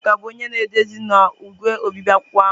Nneka bụ onye na-edezi na igwe obibi akwụkwọ ahụ.